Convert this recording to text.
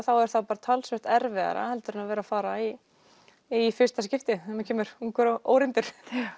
er það talsvert erfiðara heldur en að vera að fara í í fyrsta skiptið maður kemur ungur og óreyndur